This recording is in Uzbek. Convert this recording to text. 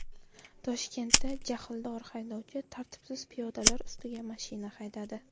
Toshkentda jahldor haydovchi tartibsiz piyodalar ustiga mashina haydadi .